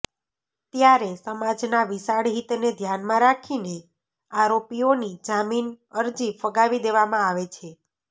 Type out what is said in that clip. ત્યારે સમાજના વિશાળ હિતને ધ્યાનમાં રાખીને આરોપીઓની જામીન અરજી ફગાવી દેવામાં આવે છે